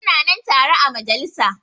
Su na nan tare a majalisa.